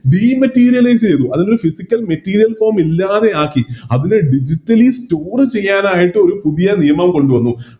Dematerialize ചെയ്തു അതായത് Physical material form ഇല്ലാതെയാക്കി അത് കഴിഞ്ഞ് Digitally store ചെയ്യാനായിട്ട് ഒരു പുതിയ നിയമം കൊണ്ടുവന്നു